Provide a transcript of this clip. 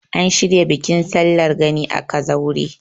an shirya bikin sallar gani a kazaure